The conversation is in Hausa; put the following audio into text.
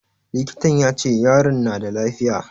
Likitan ya ce yaron na da lafiya.